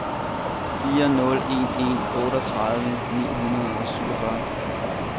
fire nul en en otteogtredive ni hundrede og syvogfyrre